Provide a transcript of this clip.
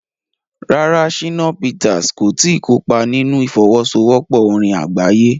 Rárá, Shina Peters kò tí ì kópa nínú ìfọwọ́sowọ́pọ̀ orin àgbáyé.